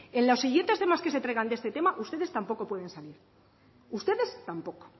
en los siguientes temas que se traigan de este tema ustedes tampoco pueden salir ustedes tampoco